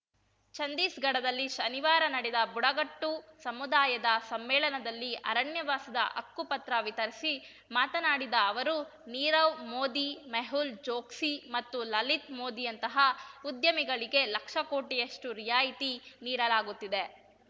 ಚಂಧೀಸ್ ಗಡದಲ್ಲಿ ಶನಿವಾರ ನಡೆದ ಬುಡಕಟ್ಟು ಸಮುದಾಯದ ಸಮ್ಮೇಳನದಲ್ಲಿ ಅರಣ್ಯವಾಸದ ಹಕ್ಕುಪತ್ರ ವಿತರಿಸಿ ಮಾತನಾಡಿದ ಅವರು ನೀರವ್‌ ಮೋದಿ ಮೆಹುಲ್‌ ಚೋಕ್ಸಿ ಮತ್ತು ಲಲಿತ್‌ ಮೋದಿಯಂತಹ ಉದ್ಯಮಿಗಳಿಗೆ ಲಕ್ಷಕೋಟಿಯಷ್ಟುರಿಯಾಯಿತಿ ನೀಡಲಾಗುತ್ತಿದೆ